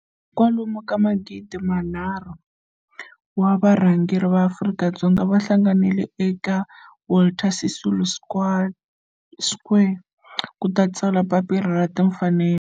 kwalomu ka magidi nharhu, 3 000, wa varhangeri va ma Afrika-Dzonga va hlanganile eka Walter Sisulu Square ku ta tsala Papila ra Timfanelo.